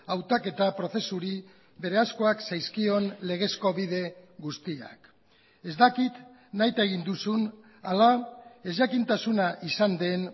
hautaketa prozesuri berezkoak zaizkion legezko bide guztiak ez dakit nahita egin duzun ala ezjakintasuna izan den